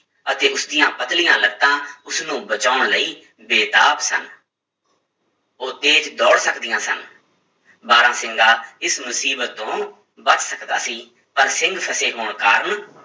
ਅਤੇ ਉਸਦੀਆਂ ਪਤਲੀਆਂ ਲੱਤਾਂ ਉਸਨੂੰ ਬਚਾਉਣ ਲਈ ਬੇਤਾਬ ਸਨ ਉਹ ਤੇਜ ਦੌੜ ਸਕਦੀਆਂ ਸਨ, ਬਾਰਾਂਸਿੰਗਾ ਇਸ ਮੁਸੀਬਤ ਤੋਂ ਬਚ ਸਕਦਾ ਸੀ, ਪਰ ਸਿੰਗ ਫਸੇ ਹੋਣ ਕਾਰਨ